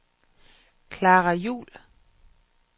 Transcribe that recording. Klara Juhl